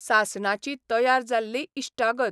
सासणाची तयार जाल्ली इश्टागत.